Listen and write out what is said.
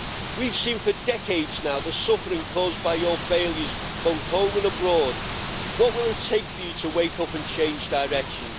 We have seen for decades now the suffering caused by your failures both at home and abroad. What will it take for you to wake up and change direction?